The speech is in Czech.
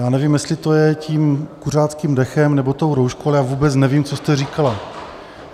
Já nevím, jestli to je tím kuřáckým dechem, nebo tou rouškou, ale já vůbec nevím, co jste říkala.